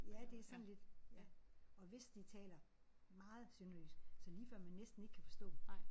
Ja det er sådan lidt ja. Og hvis de taler meget sønderjysk så er det lige før man næsten ikke kan forstå dem